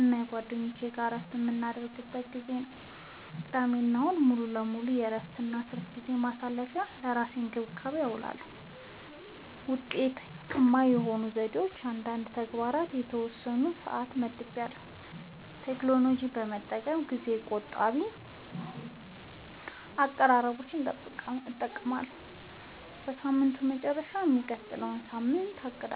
እና ከጓደኞች ጋር እረፍት የምናደርግበት ጊዜ ነው። · ቅዳሜና እሁድ ሙሉ በሙሉ ለእረፍት፣ ለትርፍ ጊዜ ማሳለፊ፣ እና ለራስ እንክብካቤ አዉለዋለሁ። ውጤታማ የሆኑኝ ዘዴዎች፦ · ለእያንዳንዱ ተግባር የተወሰነ ሰዓት መድቤያለሁ · ቴክኖሎጂን በመጠቀም ጊዜ ቆጣቢ አቀራረቦችን እጠቀማለሁ · በሳምንቱ መጨረሻ የሚቀጥለውን ሳምንት አቅዳለሁ